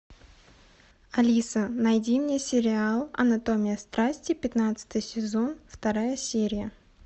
алиса найди мне сериал анатомия страсти пятнадцатый сезон вторая серия